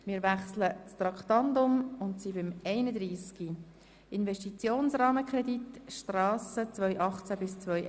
Wir kommen zu Traktandum 31, «Investitionsrahmenkredit Strasse 2018–2021».